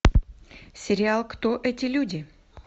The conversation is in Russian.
сериал кто эти люди